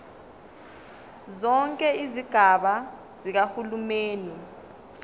zonke izigaba zikahulumeni